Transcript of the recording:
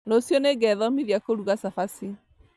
Rũciũ nĩngethomithia kũruga cabaci